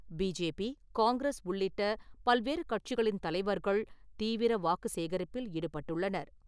BJP , Congress உள்ளிட்ட பல்வேறு கட்சிகளின் தலைவர்கள் தீவிர வாக்கு சேகரிப்பில் ஈடுபட்டுள்ளனர்.